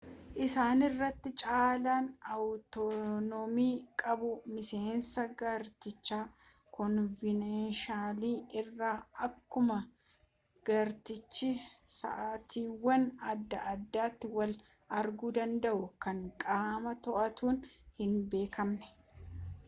isaan irra caalan awutonomii qabuu miseensa gartichaa konvenshinalii irraa akkumaa gartichi sa'aatiiwwan adda addaati wal arguu danda'u kan qaama to'atuun hin beekamne